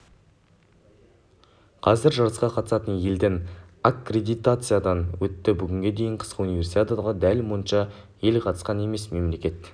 қазір жарысқа қатысатын елдің аккредитациядан өтті бүгінге дейін қысқы универсиадаға дәл мұнша ел қатысқан емес мемлекет